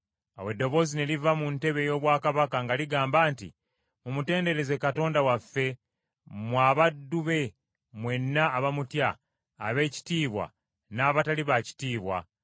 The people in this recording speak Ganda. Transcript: Awo eddoboozi ne liva mu ntebe ey’obwakabaka nga ligamba nti: “Mumutendereze Katonda waffe, mmwe abaddu be mwenna abamutya abeekitiibwa n’abatali baakitiibwa.”